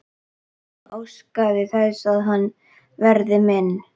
Hún óskar þess að hann verði minn.